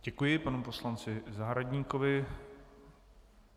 Děkuji panu poslanci Zahradníkovi.